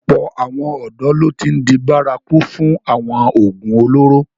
Ọ̀pọ̀ àwọn ọ̀dọ́ ló ti n di bárakú fún awọn oògùn olóró.